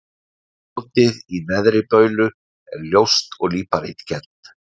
Grjótið í Neðri-Baulu er ljóst og líparítkennt.